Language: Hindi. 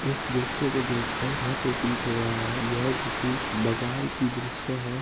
इस दृश्य को देख कर यह प्रतीत हो रहा है यह किसी बाजार की दृश्य है।